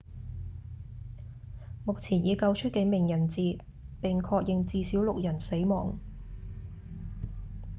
目前已經救出幾名人質並確認至少六人死亡